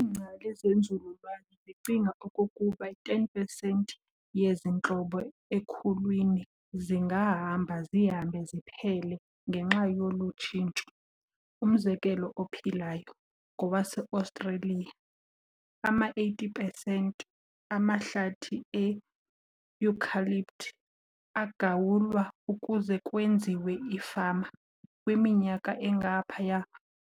Ingcali zenzululwazi zicinga okokuba i-10 pesentiyezi ntlobo ekhulwini zingahamba zihambe ziphele ngenxa yolu tshintsho. Umzekelo ophilayo ngowase-Australia, ama-80 pesenti amahlathi e-eucalypt aagawulwa ukuze kwenziwe ifama kwiminyaka engaphaya